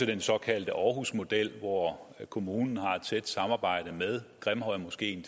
den såkaldte aarhusmodel hvor kommunen tilsyneladende har et tæt samarbejde med grimhøjmoskeen